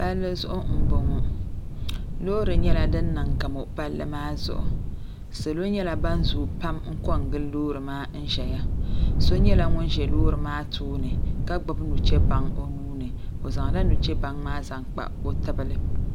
Palli zuɣu m boŋɔ loori nyɛla din nyɛ sarati palli maa zuɣu salo nyɛla ban zoogi pam n kongili loori maa n ʒɛya so nyɛla ŋun be loori maa tooni ka gbibi nuchebaŋa o nuuni o zaŋla nuchebaŋa maa kpa o tibili.